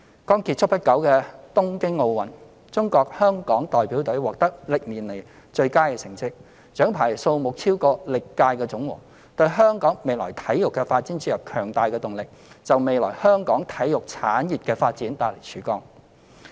剛結束不久的東京奧運，中國香港代表隊獲得歷年來最佳的成績，獎牌數目超過歷屆的總和，為香港未來的體育發展注入強大的動力，也為香港未來的體育產業發展帶來曙光。